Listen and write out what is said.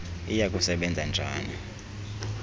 iya kusebenza njani